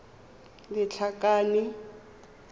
lethakane